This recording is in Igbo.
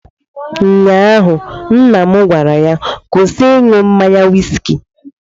Ụnyaahụ nna m gwara ya, kwụsị ịṅụ mmanya wiski